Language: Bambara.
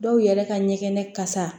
Dɔw yɛrɛ ka ɲɛkɛnɛ kasa